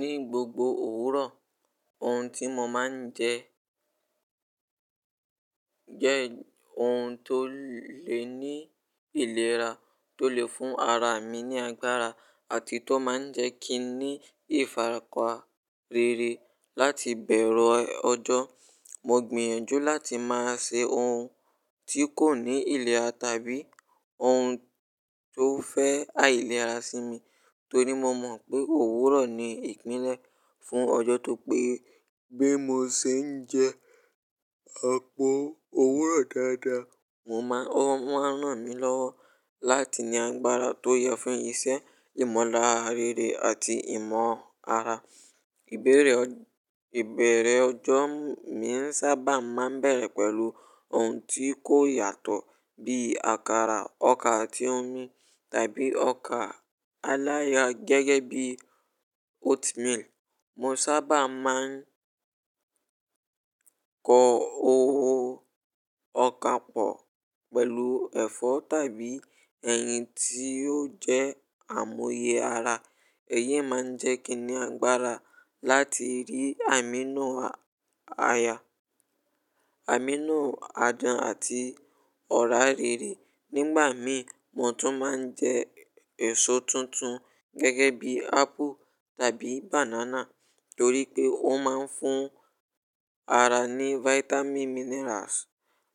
Ní gbogbo òwúrọ̀, ohun tí mo máa ń jẹ jẹ́ ohun tó lè ní ìlera tó lè fún ara mi ní agbára àti tó máa ń jẹ́ kí n ní ìfarapa rere láti bẹ̀rẹ̀ ọjọ́. Mo gbìyànjú láti máa ṣe ohun tí kò ní ìlera tàbí ohun tó fẹ́ àìlera sí mi torí mo mọ̀ pé òwúrọ̀ ni ìpínlẹ̀ fún ọjọ́ tó péé. Bí mo ṣe ń jẹ àpò òwúrọ̀ dáadáa, mo maa n--o máa ń ràn mí lọ́wọ́ láti ní agbára tó yẹ fún iṣẹ́, ìmọ̀lára rere àti ìmọ̀ ara. Ìbẹ̀rẹ̀ ọjọ́ mi sábà máa ń bẹ̀rẹ̀ pẹ̀lú ohun tí kò yàtọ̀ bí àkàrà ọkà àti omi tàbí ọkà alaya gẹ́gẹ́ bí oatmeal. Mo sábà máa ń kọ ọkà pọ̀ pẹ̀lú ẹ̀fọ́ tàbí ẹ̀yin tí yóò jẹ́ àmúyẹ ara. Èyí máa ń jẹ́ kí n ní agbára láti rí amino aya, amino adán àti ọ̀rá rere. Nígbà mìí mo tún máa ń jẹ èso tuntun gẹ́gẹ́ bí apple tàbí banana torí pé ó máa ń fún ara ní vitamin minerals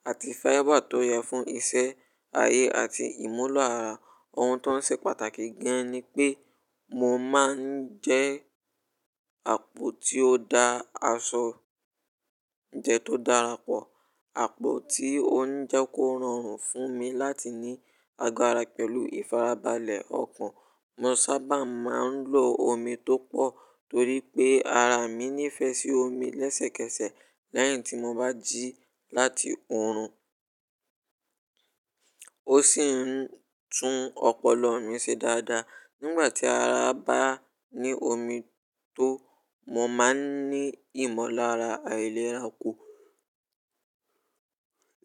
àti fiber tó yẹ fún iṣẹ́ ayé àti ìmúlọ̀ ara. Ohun tó ń ṣe pàtàkì gan ni pé mo máa ń jẹ àpò tí ó da aṣọ jẹ tó dára pọ̀. Àpò tí ó ń jẹ́ kó rọrùn fún mi láti ní agbára pẹ̀lú ìfarabalẹ̀ ọkàn. Mo sábà máa ń lo omi tó pọ̀ torí pé ara mi nífẹ̀ẹ́ sí omi lẹ́sẹ̀kẹsẹ̀ lẹ́yìn tí mo bá jí láti oòrùn. Ó sì ń tún ọpọlọ mi ṣe dáadáa. Nígbà tí ara bá ní omi tó, mo máa ń ní ìmọ̀lára àìlera kọ̀,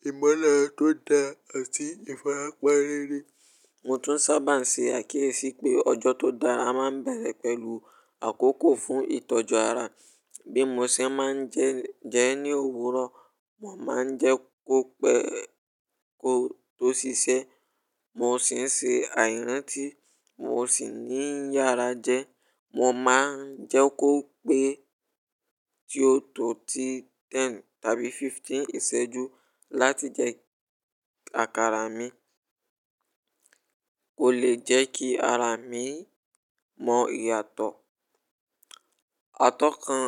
ìmọ̀lára tó dáa àti ìfarapa rere. Mo tún sábà ń ṣe àkíyèsí pé ọjọ́ tó dára máa ń bẹ̀rẹ̀ pẹ̀lú àkókò fún ìtọ́jú ara. Bí mo ṣe máa ń jẹ ní òwúrọ̀, mo máa ń jẹ kó pẹ́ kó tó ṣiṣẹ́. Mo sì ń ṣe àìrántí mo sì ní yára jẹ. Mo máa ń jẹ́ kó pé tí ó tó ti ten tàbí fifteen ìṣẹ́jú láti jẹ àkàrà mi kò lè jẹ́ kí ara mi mọ ìyàtọ̀. Atọ́kan,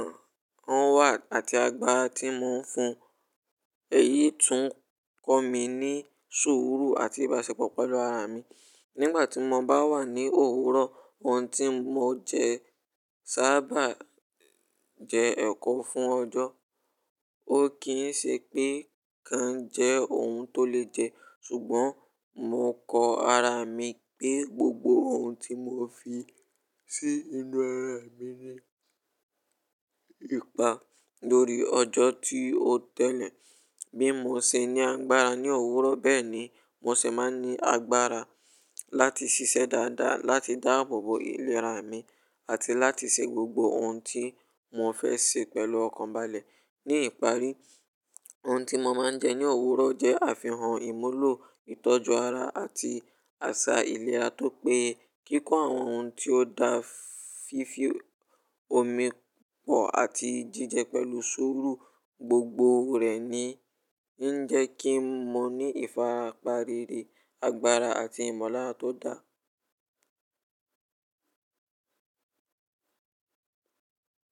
on work àti agbára tí mò ń fún, èyí tún kọ mi ní sùúrù àti ìbáṣepọ̀ pẹ̀lú ara mi. Nígbà tí mo bá wà ní òwúrọ̀, ohun tí mo jẹ sábà jẹ ẹ̀kọ fún ọjọ́. Ó kì ń ṣe pé kan jẹ ohun tó lè jẹ ṣùgbọ́n mo kọ ara mi pé gbogbo ohun tí mò fi sí inú ara mi ní ipa lórí ọjọ́ tí ó tẹ́lẹ̀. Bí mo ṣe ní agbára ní òwúrọ̀ bẹ́ẹ̀ ni mò ṣe máa n ní agbára láti ṣiṣẹ́ dáadáa, láti dáàbò bò ìlera mi àti láti ṣe gbogbo ohun tí mò ń fẹ́ ṣe pẹ̀lú ọkàn balẹ̀. Ní ìparí, ohun tí mo máa ń jẹ ní òwúrọ̀ jẹ́ àfihàn ìmúlọ̀ ìtọ́jú ara àti àṣà ìlera tó pé kíkọ́ àwọn ohun tí ó dá fífi omi pọ̀ àti jíjẹ pẹ̀lú sùúrù gbogbo rẹ̀ ni ń jẹ́ kí n mo ní ìfarapa rere, agbára àti ìmọ̀lára tó dà.